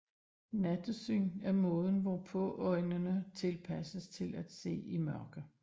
Nattesyn er måden hvorpå øjnene tilpasses til at se i mørke